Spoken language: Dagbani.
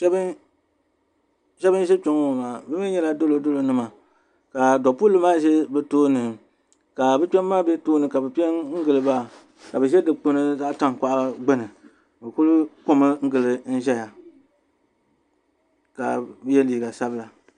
Sheba n ʒɛ kpenŋɔ maa be nyela dolodolo nima ka dopulli maa ʒi bɛ tooni ka bɛ kbem maa be tooni ka bɛ piɛngili ba ka bɛ ʒɛ dikpini zaɣa tankpaɣu gbini bɛ kuli komi gili ʒɛya ka ye liiga sabila.